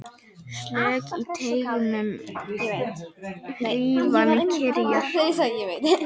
Slök í teignum hrífan kyrjar.